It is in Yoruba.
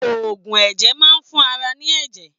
Oògùn ẹ̀jẹ̀ maá ń fún ara ní ẹ̀jẹ̀.